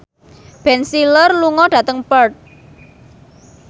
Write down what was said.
Ben Stiller lunga dhateng Perth